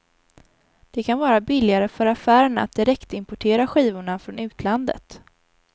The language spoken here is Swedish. Det kan vara billigare för affärerna att direktimportera skivorna från utlandet.